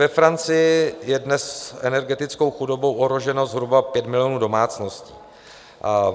Ve Francii je dnes energetickou chudobou ohroženo zhruba 5 milionů domácností.